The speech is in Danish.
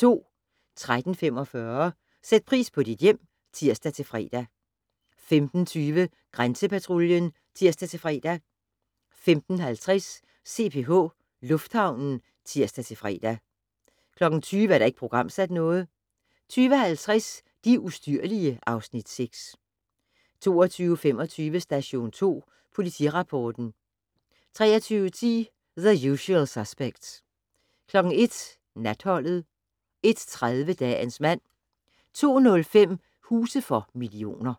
13:45: Sæt pris på dit hjem (tir-fre) 15:20: Grænsepatruljen (tir-fre) 15:50: CPH Lufthavnen (tir-fre) 20:00: Ikke programsat 20:50: De ustyrlige (Afs. 6) 21:25: Station 2 Politirapporten 23:10: The Usual Suspects 01:00: Natholdet 01:30: Dagens mand 02:05: Huse for millioner